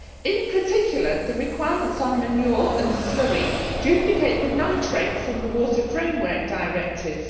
In particular, the requirements on manure and slurry duplicate the Nitrates Directive and the Water Framework Directive.